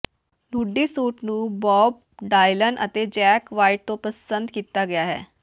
Nudi suit ਨੂੰ Bob Dylan ਅਤੇ Jack White ਤੋਂ ਪਸੰਦ ਕੀਤਾ ਗਿਆ ਹੈ